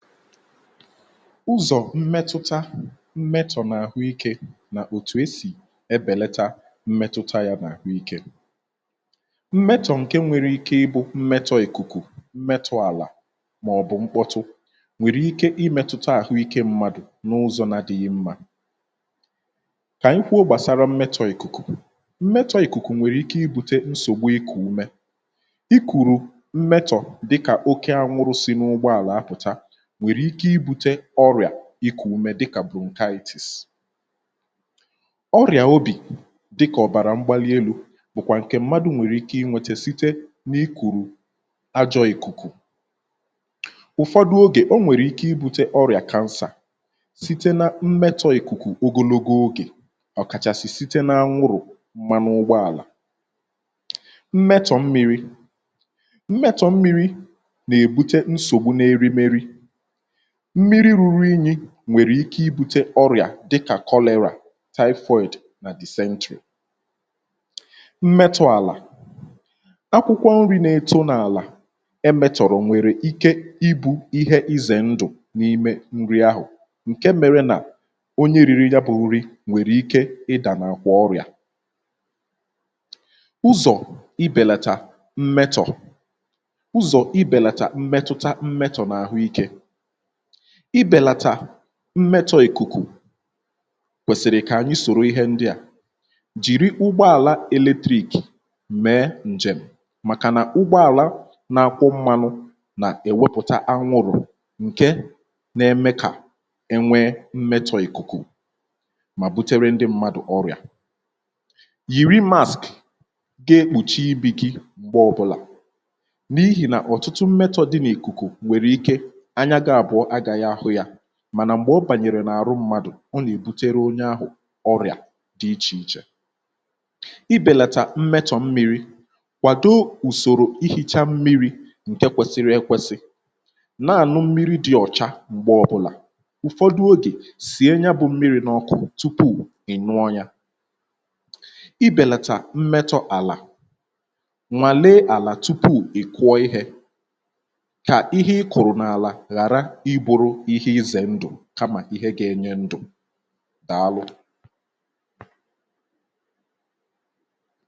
ụzọ̀ mmetuta mmetọ̀ n’àhụikė nà òtù esì ebèleta mmetụta ya n’àhụikė mmetọ̀ ǹke nwere ike ị bụ mmetọ̇ ìkùkù um mmetọ̇ àlà màọ̀bụ̀ mkpọtụ nwèrè ike imetọta àhụikė mmadụ̀ n’ụzọ̇ na dị̇ghị̇ mmȧ um kà anyị kwo gbàsara mmetọ̇ ìkùkù mmetọ̇ ìkùkù nwèrè ike ibutė nsògbu ịkụ̀ ume um ị kụ̀rụ̀ mmetọ̀ dịkà oke anwụrụ̇ si n’ụgbọàlà apụ̀ta nwèrè ike ibu̇tė ọrịà ikù umė dịkà brunkaktis ọrịà obì dịkà ọ̀bàrà mgbalielu̇ bụ̀kwà ǹkè mmadụ̇ nwèrè ike i nwete site n’ikùrù ajọ̇ ikùkù ụ̀fọdụ ogè o nwèrè ike i bute ọrịà kansà site na mmetọ̇ ikùkù ogologo ogè ọ̀kàchàsị̀ site na anwụrụ̀ mmanụ ụgbọàlà um mmetọ̀ mmiri mmetọ̀ mmiri nà-èbute nsògbu n’erimeri mmiri ruru inyi nwèrè ike ibutė ọrị̀à dịkà kọlị̀rị̀ taịfoị̀d nà decentrì mmetụ̇ àlà akwụkwọ nri̇ na-eto n’àlà emetụ̀rọ̀ um nwèrè ike ịbụ̇ ihe izè ndù n’ime nri ahụ̀ ǹke mėrė nà onye riri ya bụ̇ nri nwèrè ike ịdà na-akwụ̇ ọrị̀à ụzọ̀ ibèlata mmetọ̀ ụzọ̀ ibèlata mmetụta mmetụ̀ n’ahụ̀ ike ibelata mmetọ̀ ìkùkù kwèsìrì kà ànyị sòro ihe ndị à jìri ụgbọàla eletrik̀ mee ǹjèm màkà nà ụgbọàla na-akwụ mmȧnu̇ nà-èwepùta anwụrụ̀ ǹke na-eme kà enwee mmetọ̀ ìkùkù mà butere ndị mmadụ̀ ọrịà yìri mask ga-ekpùchi ibì gi um gbaa ọ̀bụlà n’ihì nà ọ̀tụtụ mmetọ̀ dị n’ìkùkù wère ike um mànà m̀gbè ọ bànyèrè n’àrụ mmadụ̀ ọ nà-èbutere onye ahụ̀ ọrịà dị̇ ichè ichè ibèlàtà mmetọ̀ mmiri̇kwàdo ùsòrò ihichaa mmiri̇ um ǹke kwesiri ekwesi nà-ànụ mmiri dị̇ ọ̀cha m̀gbè ọbụ̇là ụ̀fọdụ ogè sì e nya bụ̇ mmiri̇ n’ọkụ tupu ị̀ nụọ ya um ibèlàtà mmetọ̇ àlà nwàle àlà tupu ị̀ kụọ ihė kamà ihe ga-enye ndụ̀ daa lụ̀.